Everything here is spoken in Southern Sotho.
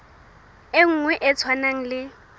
e nngwe e tshwanang le